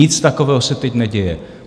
Nic takového se teď neděje.